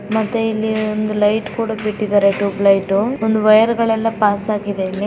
ಮತ್ತೆ ಇಲ್ಲಿ ಒಂದು ಲೈಟ್ ಕೂಡಾ ಬಿಟ್ಟಿದ್ದಾರೆ ಟುಬೆಲೈಟ್ . ಒಂದ್ ವೈರ್ ಗಲ್ಲೆಲ್ಲ ಪಾಸ್ ಆಗಿದೆ ಇಲ್ಲಿ.